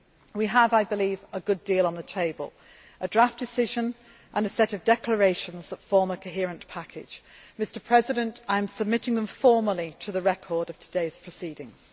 We have a good deal on the table a draft decision and a set of declarations that form a coherent package. Mr President, I am submitting them formally to the record of today's proceedings.